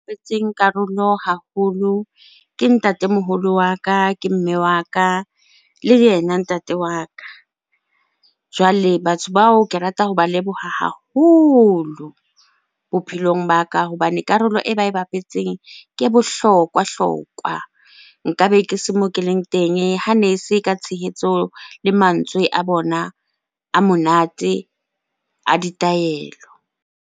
Karolo haholo ke ntatemoholo wa ka, ke mme wa ka le ena ntate wa ka. Jwale batho bao ke rata hoba leboha haholo bophelong ba ka hobane karolo e ba e bapetseng ke e bohlokwahlokwa. Nkabe ke se moo ke leng teng hane se ka tshehetso le mantswe a bona a monate a ditaelo.